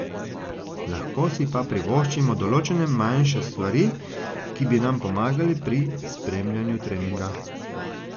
Lahko si pa privoščimo določene manjše stvari, ki bi nam pomagale pri spremljanju treninga.